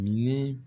Ni